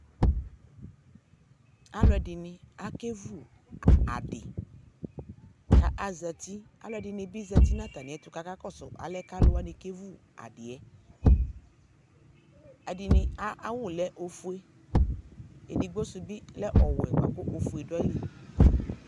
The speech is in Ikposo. aluɛdɩnɩ zati kʊ akevu adɩ, aluɛdɩnɩ bɩ zati nʊ atamiɛtʊ kʊ akakɔsʊ alɛnɛ kʊ alʊwanɩ kevu adɩ yɛ, edɩnɩ ayʊ awu lɛ ofue, edigbo sʊ bɩ lɛ owɛ kʊ ofue dʊ ayili